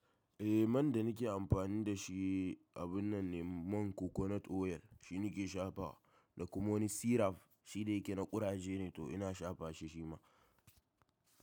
Eh man da nake amfani da shi, abun nan ne man Coconut oil shine nake shafa. Da kuma wani syrup shi da yake na ƙuraje ne to ina shafa shi shima.